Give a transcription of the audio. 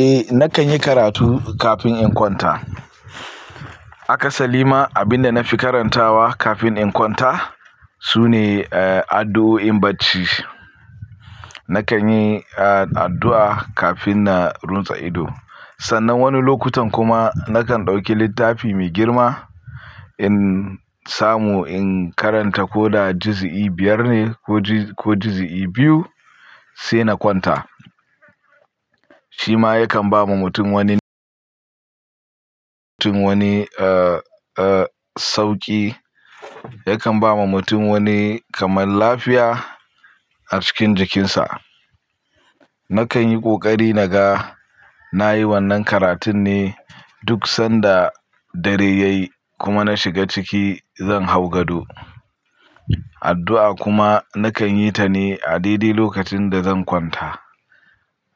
Eh, na kan yi karatu kafin in kwanta. Akasali ma abin da na fi karantawa kafin in kwanta sune, eh, addu'o'in bacci. Na kan yi addu'a kafin na runtse ido. Sannan wani lokutan kuma na kan ɗauki littafi mai girma in samu in karanta ko da jizi'i biyar ne ko jizi'i biyu sai na kwanta. Shi ma yakan ba ma mutum wani, mutum wani, ah, ah sauƙi. Yakan ba ma mutum wani kamar lafiya a cikin jikinsa. Na kan yi ƙoƙari naga na yi wannan karatun ne duk sanda dare ya yi kuma na shiga ciki zan hau gado. Addu'a kuma na kan yi ta ne a deɗe lokacin da zan kwanta.